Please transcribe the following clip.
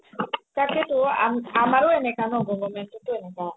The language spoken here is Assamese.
তাকেইটো আমাৰও এনেকা ন government ও এনকা